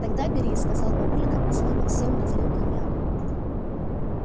тогда бери сказал папулька и снова всем разлил коньяк